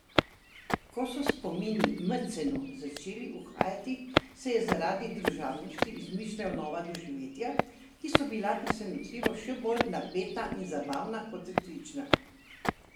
Ko so spomini Madsu Madsenu začeli uhajati, si je zaradi družabnosti izmišljal nova doživetja, ki so bila presenetljivo še bolj napeta in zabavna kot resnična.